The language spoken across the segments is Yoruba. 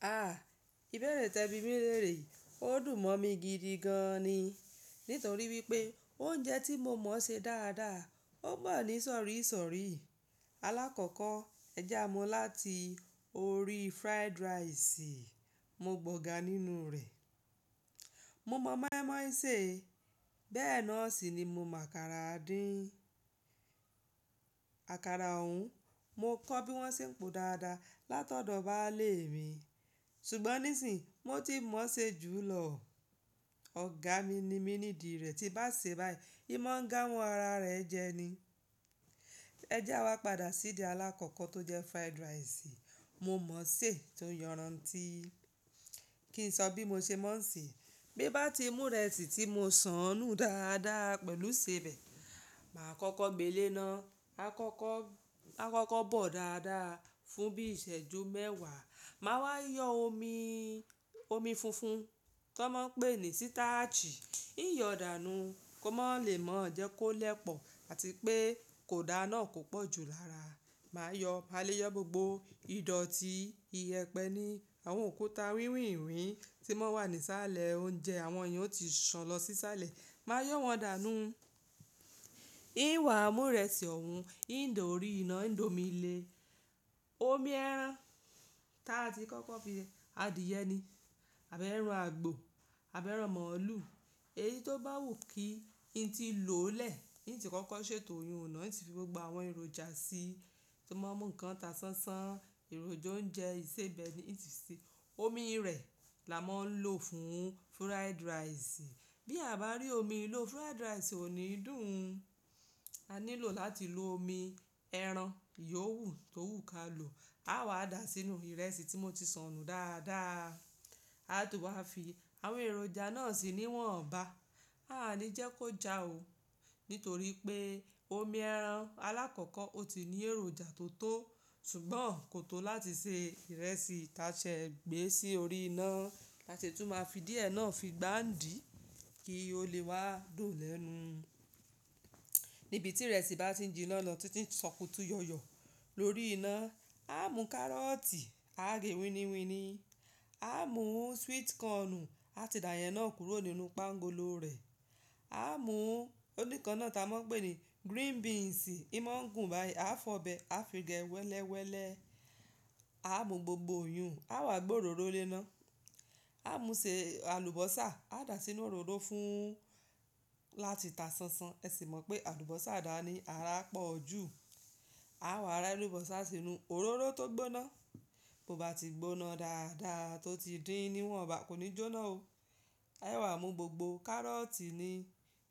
A! Ibẹ̀rẹ̀ tẹbi mi leere yi, ó dùn mọ́ mi gidi gan ni. Nítorí wípé oúnjẹ tí mo mọ̀ ṣe dáadáa, ó bá ní sọ̀rí sọ̀rí. Alákọ̀kọ́ ẹ já a mọu láti orí fried rice, mo gbọ̀ga nínú rẹ̀. Mo mọ̀ mọ́ímọ́í ṣe, bẹ́ẹ̀ náà sì ni mo mọ àkàrà díì. Àkàrà òún, mo kọ́ bí wón ṣe ń po dáadáa látọ̀dọ̀ bàálé mi, ṣùgbọ́n níìsín mo ti mọ̀ ṣe jù lọ. Ọ̀gá mi ni mí nídì rẹ̀, tí bá ṣe báyìí, imọ̀ ń ga mọ́ ara rẹ̀ jẹ ni. Ẹ jẹ́ wá padà sí di alákọ̀kọ́ tó jẹ fried rice, mo mọ̀ ṣe tó yọran tií. Kí n sọ bí mo ṣe mọ̀ ń ṣe, bí bá ti mú ìrẹsì tí mo sànú dáadáa pẹ̀lú sèbẹ̀, màá kọ́kọ́ gbé e léná. A kọ́kọ́ bọ̀ dáadáa fún bí iṣẹ́ju mẹ́wàá, màá wá yọ omi funfun tó máa ń pè ní sítáàchì. Yíyọ dàánú kó má lè mọ̀ọ́ jẹ́ kó lẹpọ̀ àti pé kò dà náà kò pọ̀ jù lára. Máa yọ, máa lé yọ gbogbo ìdọ̀tí iyẹpẹ ni, àwọn òkúta wíwìnwín tí wọ́n wà ní sálẹ̀ oúnjẹ, àwọn yìí ó ti ṣan lọ sí sálẹ̀. Máa yọ́ wọn dàánú. Hin wà á mú ìrẹsì òún, hìn dá orí iná hìn d'omi le. Omi ẹ̀ràn táa ti kọ́kọ́ fi adìyẹ ni, àbẹ́ ẹran àgbò, àbẹ́ ẹran mọ̀ọ́lù. Èyí tó bá wù kí ì tí ì lòó lẹ̀. Ì tí kọ́kọ́ ṣètò oyún ọ̀nà, ì tí fi gbogbo àwọn èròjà sí, tí mọ́ ń mú ǹkan ta sánsán, èròjà oúnjẹ, ìsebẹ̀ ni ì ti ṣe. Omi rẹ̀ la máa ń lò fún fried rice. Bí a bá rí omi lò fried rice ò ní dùn. A nílò láti lo omi ẹran yòwú tó wù ká lò. A wa dà á sínú ìrẹsì tí mo ti sànú dáadáa. A tún wá fi àwọn èròjà náà sì níwọ̀nba. A à ní jẹ́ kó jà ó, nítorí pé omi ẹ̀ràn alákọ̀kọ́ ó ti ní èròjà tó tó, ṣùgbọ́n kò tó láti ṣe ìrẹsì ta ṣe gbé sí orí iná. A sì tún máa fi díẹ̀ náà fi gbáǹdì kí ó lè wá dùn lẹ́nu. Níbi tí ìrẹsì bá ti jí iná lọ, títí ń ṣòkùtù yọ̀yọ̀ lórí iná, a mú kárọ̀tì, a gé wíniwíni. A mú sweet corn, a ti dà yẹn náà kúrò nínú páńgolo rẹ̀. A mú oníkan náà ta a máa ń pè ní green beans, hin mọ̀ ń gùn báyìí. A fọ̀ọ́ bẹ̀, a fi gẹ wẹ́lẹ́wẹ́lẹ́. A mú gbogbo yún, a wá gbé òróró lé ná. A mú ṣe alubosa, a dà á sínú òróró fún láti ta sánsán. Ẹ sì mọ̀ pé alubosa dà ni ara pọ̀ jù. A wá rẹ alubosa sínú òróró tó gbóná. Bo bá ti gbóná dáadáa tó ti dín níwọ̀nba, kò ní jóná o. A wa mú gbogbo kárọ̀tì ni,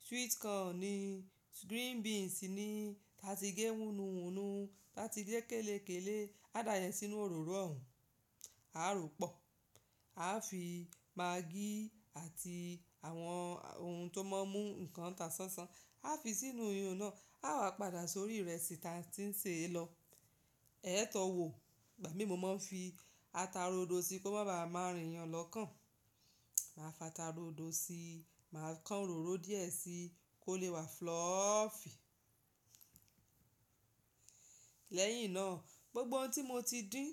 sweet corn ni, green beans ni ta ti gé hunu hunu, ta ti lé kèlékèlé, a dà yẹn sínú òróró òún. A rò ó pọ̀. A fi maggi àti àwọn ohun tó máa ń mú ǹkan ta sánsán, a fi sínú yún náà. A wá padà sórí ìrẹsì ta ti ń ṣe lọ. Ẹ tọ̀ọ́ wò, ìgbà mí mo máa ń fi ata ró ódo sí kó má ba à má rìn yàn lọ́kàn. Màá fa ata ró ódo sí, màá kan òróró díẹ̀ sí kó lè wá fluffy. Lẹ́yìn náà, gbogbo ohun tí mo ti dín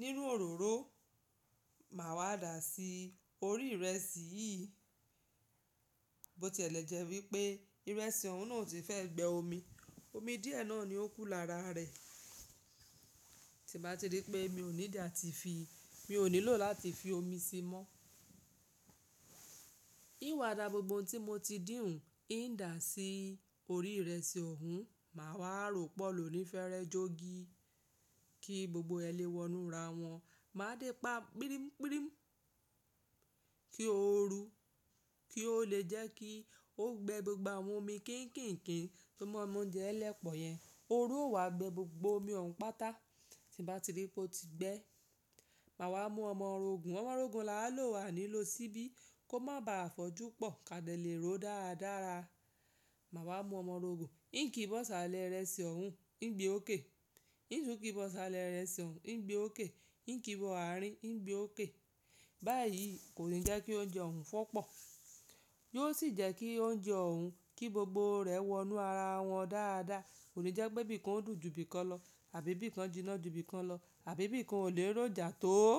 nínú òróró, màá wá dà á sí orí ìrẹsì yìí. Mo tiẹ̀lẹ̀jẹ̀ wípé ìrẹsì òún náà ò tí fẹ́ gbé omi. Omi díẹ̀ náà ni ó kú lára rẹ̀. Tí màá ti rí i pé mi ò need àti fi, mi ò nílò láti fi omi sí i mọ́. Í wà dà gbogbo ohun tí mo ti dín ún, í dà á sí orí ìrẹsì òún, màá wá rò ó pọ̀ lòní fẹ́rẹ́ jogi kí gbogbo ẹlẹ́wọ̀nú ra wọn. Màá dẹ́ pa pírímípírím kí ó ru, kí ó lè jẹ́ kí ó gbé gbogbo àwọn omi kíńkínkín tó máa ń mú oúnjẹ ẹlẹ́pọ̀ yẹn. Ó ru, ó wá gbé gbogbo omi òún pátá. Tí n bàá ti rí i pé ó ti gbẹ, màá wá mú ọmọrogùn. Ọmọrogùn la a lò, a ní lò síbí kó má ba à fọ́jú pọ̀ ká lè ró dáradára. Màá wá mú ọmọrogùn, kí n kí bọ̀ sálẹ̀ ìrẹsì òún, ń gbé ó ké. Ì tún kí bọ̀ sálẹ̀ ìrẹsì òún, ń gbé ó ké. Ì kí bọ̀ àárín, ń gbé ó ké. Báyìí kò ní jẹ́ kí oúnjẹ òún fọ́ pọ̀. Yóò sì jẹ́ kí oúnjẹ òún, kí gbogbo rẹ̀ wọnú ara wọn dáadáa. Kò ní jẹ́ pé bí i kán dùn ju bí i kán lọ, àbí bí i kán jiná ju bí i kán lọ, àbí bí i kán ò lè rójà tó.